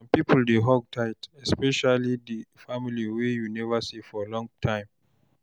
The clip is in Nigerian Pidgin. Some pipo dey hug tight especially family wey you neva see for long time.